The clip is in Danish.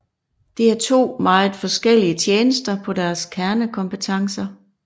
Det er to meget forskellige tjenester på deres kernekompetencer